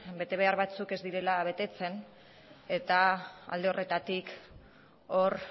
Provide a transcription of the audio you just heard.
betebehar batzuk ez direla betetzen eta alde horretatik hor